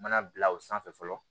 U mana bila o sanfɛ fɔlɔ